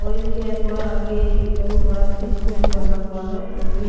और इसके थोड़ा आगे बहुत बड़ा ब्रिज पुल भी बना हुआ है जो कि--